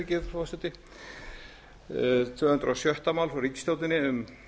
nóv tvö hundruð og sjötta mál frá ríkisstjórninni um